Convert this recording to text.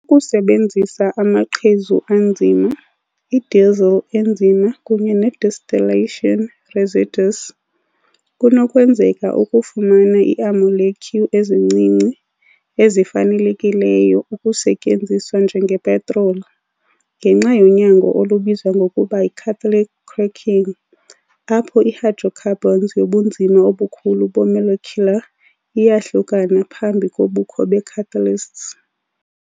Ukusebenzisa amaqhezu anzima, i-diesel enzima kunye ne-distillation residues, kunokwenzeka ukufumana iamolekyu ezincinci ezifanelekileyo ukusetyenziswa njengepetroli, ngenxa yonyango olubizwa ngokuba yi "-catalytic cracking", apho i-hydrocarbons yobunzima obukhulu be -molecular iyahlukana phambi kobukho be- catalyst.